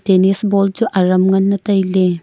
tennis ball chu aram ngan le taile.